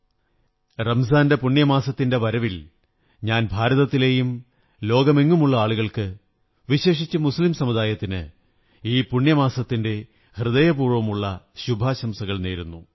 പുണ്യമാസമായ റംസാന്റെ വരവിൽ ഞാൻ ഭാരതത്തിലെയും ലോകമെങ്ങുമുള്ള ആളുകള്ക്ക്യ വിശേഷിച്ച് മുസ്ലിം സമുദായത്തിന് ഹൃദയപൂര്വ്വങമുള്ള ശുഭാശംസകൾ നേരുന്നു